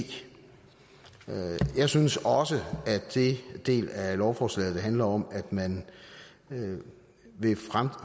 jeg synes også at den del af lovforslaget som handler om at man vil